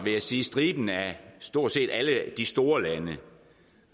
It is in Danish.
striben af stort set alle de store lande